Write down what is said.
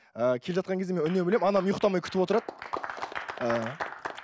ыыы келе жатқан кезде мен үнемі анам ұйықтамай күтіп отырады